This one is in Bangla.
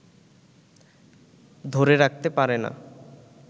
ধরে রাখতে পারে না